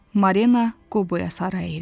Marina Qoboya sarı əyildi.